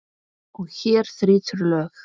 Og hér þrýtur lög.